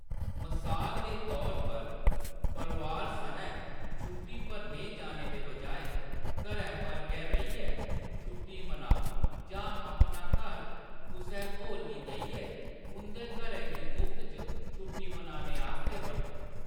मसाल दे तौर पर, परोआर सनै छुट्टी पर नेईं जाने दे बजाए, घरै पर गै रेहियै छुट्टी मनाओ जां अपना घर कुसै होर गी देइयै उंʼदे घरै गी मुफ्त च छुट्टी मनाने आस्तै बरतो।